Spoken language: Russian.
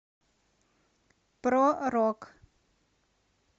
про рок